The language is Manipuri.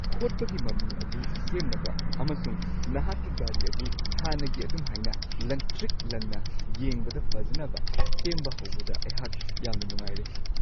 ꯈꯣꯠꯄꯒꯤ ꯃꯃꯤ ꯑꯗꯨ ꯁꯦꯝꯅꯕ ꯑꯃꯁꯨꯡ ꯅꯍꯥꯛꯀꯤ ꯒꯥꯔꯤ ꯑꯗꯨ ꯍꯥꯟꯅꯒꯤ ꯑꯗꯨꯝꯍꯥꯏꯅ ꯂꯪꯇ꯭ꯔꯤꯛ-ꯂꯪꯅ ꯌꯦꯡꯕꯗ ꯐꯖꯅꯕ ꯁꯦꯝꯕ ꯍꯧꯕꯗ ꯑꯩꯍꯥꯛ ꯌꯥꯝꯅ ꯅꯨꯡꯉꯥꯏꯔꯦ !